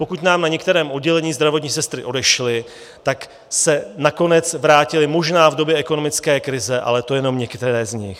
Pokud nám na některém oddělení zdravotní sestry odešly, tak se nakonec vrátily možná v době ekonomické krize, ale to jenom některé z nich.